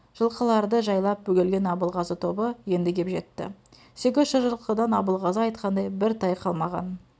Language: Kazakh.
жылқыларды жайлап бөгелген абылғазы тобы енді кеп жетті сегіз жүз жылқыдан абылғазы айтқандай бір тай қалмаған